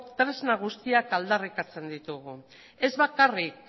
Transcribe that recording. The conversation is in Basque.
tresna guztiak aldarrikatzen ditugu ez bakarrik